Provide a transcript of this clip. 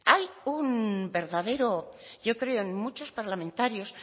hay un verdadero yo creo en muchos parlamentarios